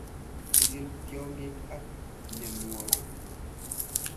Chikil tyaangik ak myanwokik